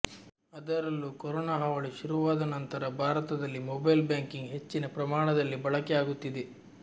ಆದರಲ್ಲೂ corona ಹಾವಳಿ ಶುರುವಾದ ನಂತರ ಭಾರತದಲ್ಲಿ ಮೊಬೈಲ್ ಬ್ಯಾಂಕಿಂಗ್ ಹೆಚ್ಚಿನ ಪ್ರಮಾಣದಲ್ಲಿ ಬಳಕೆ ಆಗುತ್ತಿದೆ